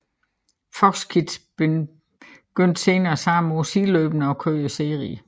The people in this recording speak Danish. Fox Kids begyndte senere samme år sideløbende at køre serien